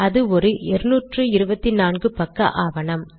அது ஒரு 224 பக்க ஆவணம்